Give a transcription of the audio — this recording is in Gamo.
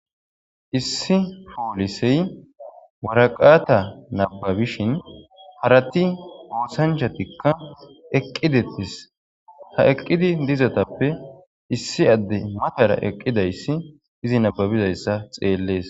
issi foolisey waraqaata nababishin harati goosanchatikka eqqidettis ha eqqidi dizatappe issi adde matara eqqidayssi izi nababizayssa xeellees